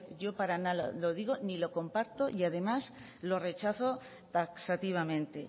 yo para nada lo digo ni lo comparto además lo rechazo taxativamente